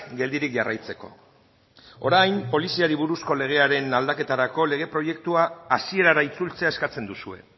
geldirik jarraitzeko orain poliziari buruzko legearen aldaketarako lege proiektua hasierara itzultzea eskatzen duzue